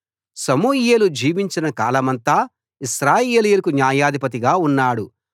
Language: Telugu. సమూయేలు జీవించిన కాలమంతా ఇశ్రాయేలీయులకు న్యాయాధిపతిగా ఉన్నాడు